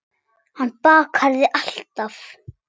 Hann bakar þig alltaf.